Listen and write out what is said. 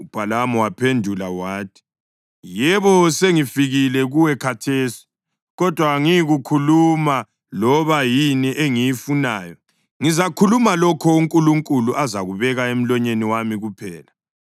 UBhalamu waphendula wathi, “Yebo, sengifikile kuwe khathesi. Kodwa angiyikukhuluma loba yini engiyifunayo. Ngizakhuluma lokho uNkulunkulu azakubeka emlonyeni wami kuphela.”